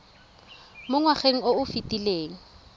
mo ngwageng o o fetileng